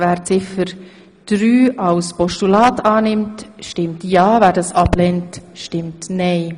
Wer dieses annehmen will, stimmt ja, wer es ablehnt, stimmt nein.